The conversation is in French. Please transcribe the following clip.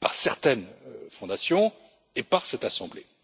par certaines fondations et par cette assemblée.